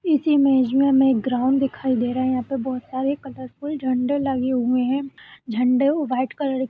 इस इमेज में हमें एक ग्राउंड दिखाई दे रहा है। यहाँ पे बोहुत सारे कलरफुल झंडे लगे हुए हैं। झंड़े व्हाइट कलर --